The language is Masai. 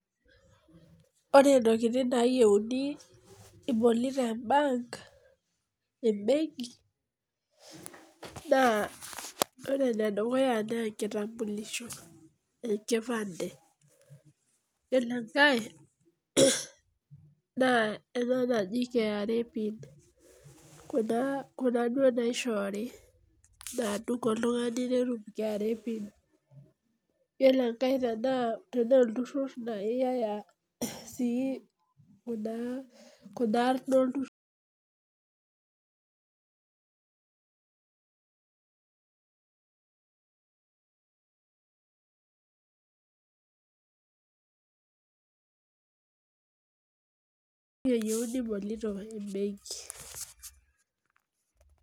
Ore ntokitin nayieuni ibolito embenki na ore enedukuya na enkitampulisho, enkpande ore enkae nakra nadung oltungani netum kra pin ore enkae tanaa iyatata olturur eyieuni ibolito embenki